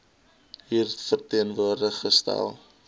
hier teenwoordig gestel